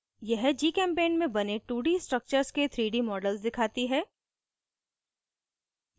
यह gchempaint में बने 2d structures के 3d models दिखाती है